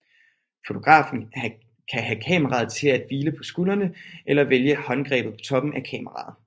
Fotografen kan have kameraet til at hvile på skulderen eller vælge håndgrebet på toppen af kameraet